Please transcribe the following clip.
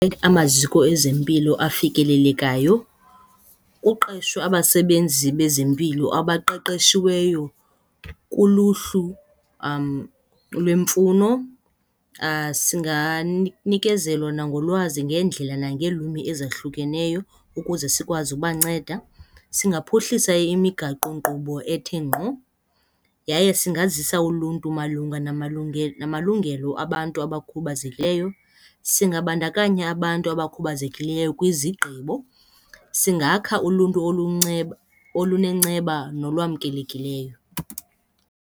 Amaziko ezempilo afikelelekayo kuqeshwe abasebenzi bezempilo abaqeqeshiweyo kuluhlu lwemfuno singanikezelwa nangolwazi ngendlela nangeelwimi ezahlukeneyo, ukuze sikwazi ubanceda. Singaphuhlisa imigaqonkqubo ethe ngqo, yaye singazisa uluntu malunga namalungelo abantu abakhubazekileyo. Singabandakanya abantu abakhubazekileyo kwizigqibo. Singakha uluntu olunenceba nolwamkelekileyo.